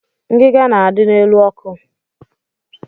Ngiga na-adị n'elu ọkụ.